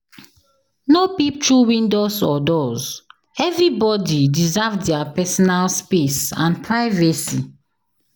No peep through windows or doors, everybody deserve their personal space and privacy.